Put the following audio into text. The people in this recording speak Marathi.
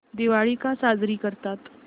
दिवाळी का साजरी करतात